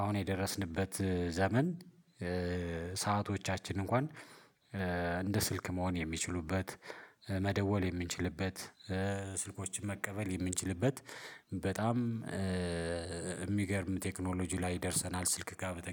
አሁን የደረስንበት ዘመን ሰአቶቻችን እንኳን እንደ ስልክ መሆን የሚችሉበት መደወል የምንችልበት ስልኮችን መቀበል የምንችልበት በጣም የሚገርም ቴክኖሎጂ ላይ ደርሰናል ስልክ ጋር በተገናኘ